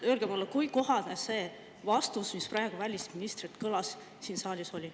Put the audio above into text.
Öelge mulle, kui kohane oli see vastus, mis praegu välisministrilt siin saalis kõlas.